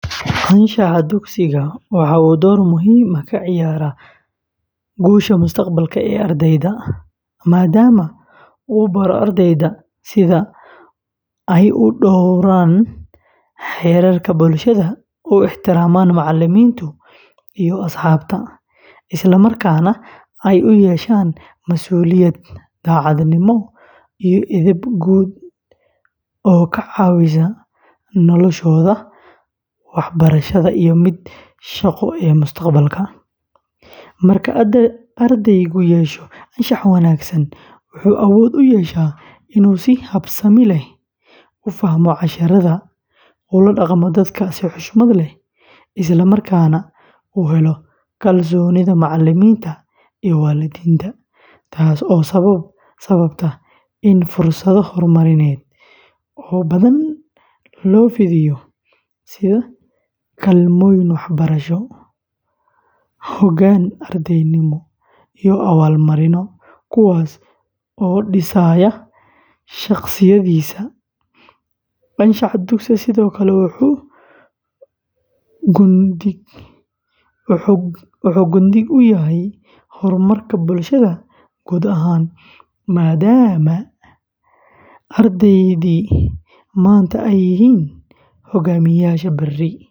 Anshaxa dugsiga waxa uu door muhiim ah ka ciyaaraa guusha mustaqbalka ee ardayda, maadaama uu baro ardayda sida ay u dhowraan xeerarka bulshada, u ixtiraamaan macallimiinta iyo asxaabta, isla markaana ay u yeeshaan mas’uuliyad, daacadnimo, iyo edeb guud oo ka caawisa noloshooda waxbarasho iyo midda shaqo ee mustaqbalka; marka ardaygu yeesho anshax wanaagsan, wuxuu awood u yeeshaa inuu si habsami leh u fahmo casharrada, ula dhaqmo dadka si xushmad leh, isla markaana uu helo kalsoonida macallimiinta iyo waalidiinta, taas oo sababta in fursado horumarineed oo badan loo fidiyo, sida kaalmooyin waxbarasho, hoggaan ardaynimo, iyo abaalmarinno, kuwaas oo dhisaya shakhsiyaddiisa; anshaxa dugsigu sidoo kale wuxuu gundhig u yahay horumarka bulshada guud ahaan, maadaama ardaydii maanta ay yihiin hoggaamiyeyaasha berri.